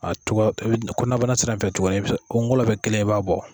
A cogoya tobi kɔnabana sira in fɛ cogo kungolo be kelen e b'a bɔ